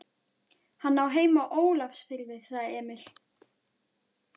Hann á heima í Ólafsfirði, sagði Emil.